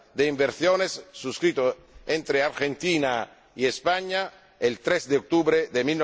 inversiones, suscrito entre Argentina y España el 3 de octubre de